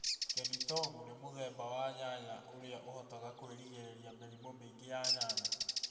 Kenitomu ni mũthemba wa nyanya ũria ũhotaga kwĩgirĩrĩria mĩrimũ mĩingĩ ya nyanya